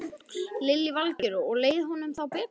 Lillý Valgerður: Og leið honum þá betur?